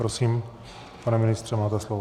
Prosím, pane ministře, máte slovo.